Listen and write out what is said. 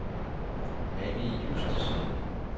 Anni Justesen